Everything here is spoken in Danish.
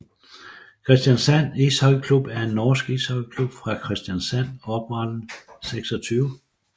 Kristiansand Ishockeyklubb er en norsk ishockeyklub fra Kristiansand oprettet 26